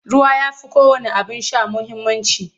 Ruwa ya fi kowanne abin sha muhimmanci.